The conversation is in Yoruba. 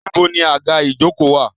Níbo ni àga ìjokòó wà?